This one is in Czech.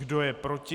Kdo je proti?